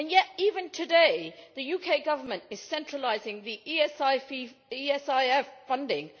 Yet, even today, the UK government is centralising the ESIF funding.